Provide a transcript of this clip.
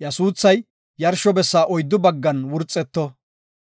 iya suuthay yarsho bessa oyddu baggan wurxeto.